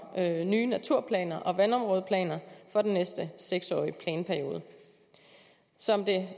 nye naturplaner og vandområdeplaner for den næste seks årige planperiode som det